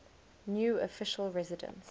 new official residence